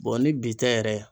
ni bi tɛ yɛrɛ